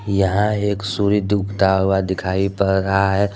यहां एक सूर्य डूबता हुआ दिखाई पड़ रहा है।